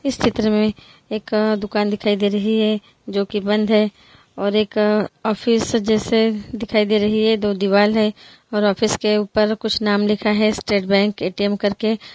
इस चित्र में एक आ दुकान दिखाई दे रही है जो की बंध है और एक आ ऑफिस जैसे दिखाई दे रही है दो दीवाल है और ऑफिस के ऊपर कुछ नाम लिखा है स्टेट बैंक ए_टी_एम करके ।